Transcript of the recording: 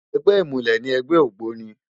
Ègbè imúlè ni ègbè ógbóni